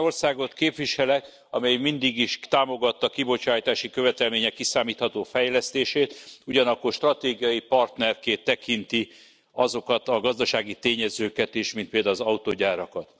Egy olyan országot képviselek, amely mindig is támogatta a kibocsátási követelmények kiszámítható fejlesztését, ugyanakkor stratégiai partnerként tekinti azokat a gazdasági tényezőket is, mint például az autógyárakat.